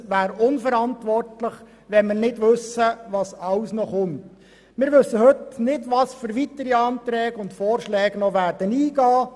Zweitens wäre eine Behandlung dieses Themas unverantwortlich, da wir ja nicht wissen, was noch alles kommt, denn wir kennen die weiteren Anträge und Vorschläge heute noch nicht.